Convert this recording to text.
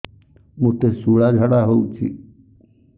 ମୋତେ ଶୂଳା ଝାଡ଼ା ହଉଚି